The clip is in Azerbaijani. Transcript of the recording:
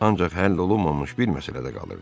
Ancaq həll olunmamış bir məsələ də qalırdı.